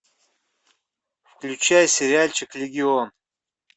включай сериальчик легион